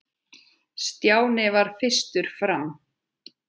Stjáni varð fyrstur fram.